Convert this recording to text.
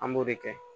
An b'o de kɛ